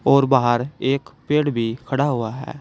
और बाहर एक पेड़ भी खड़ा हुआ है।